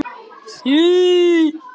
Hún átti heima fyrir norðan.